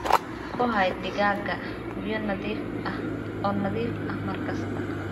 Ku hay digaagga biyo nadiif ah oo nadiif ah mar kasta.